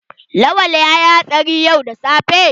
Lawan yayi hatsari yau da safe.